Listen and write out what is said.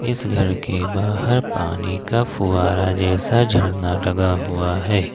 इस घर के बाहर पानी का फुआरा जैसा झरना लगा हुआ है।